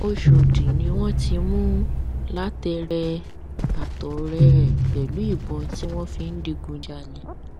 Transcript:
ọṣọdì ni wọn ti mú lateref àtọrẹ ẹ pẹlú ìbọn tí wọn fi ń digunjalè